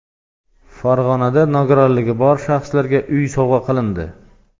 Farg‘onada nogironligi bor shaxslarga uy sovg‘a qilindi.